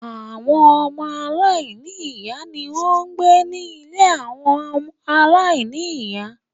Àwọn ọmọ Aláìní-ìyá ni wọ́n ń gbé ní ilé àwọn aláìní-ìyá